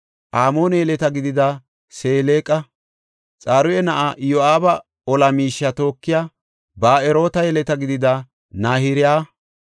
Amoone yeleta gidida Seleqa, Xaruya na7aa Iyo7aaba ola miishiya tookiya Ba7eroota yeleta gidida Nahiraya,